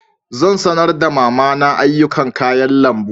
Zan sanar da mama na ayyukan kayan lambu.